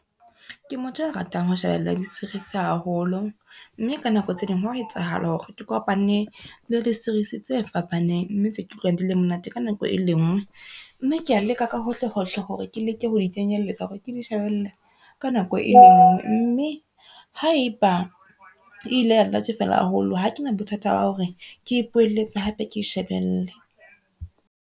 Ke motho a ratang ho shebella di-series haholo, mme ka nako tse ding ho a etsahala hore ke kopane le di-series tse fapaneng, mme tse ke utlwang di le monate ka nako e lengwe. Mme ke a leka ka hohlehohle hore ke leke ho di kenyelletsa hore ke di shebelle ka nako e lengwe, mme haeba e ile ya nnatefela haholo, ha kena bothata ba hore ke ipoeletse hape ke shebelle.